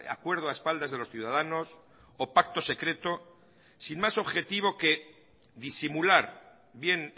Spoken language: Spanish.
acuerdo a espaldas de los ciudadanos o pacto secreto sin más objetivo que disimular bien